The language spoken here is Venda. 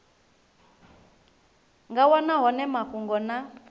nga wana hone mafhungo na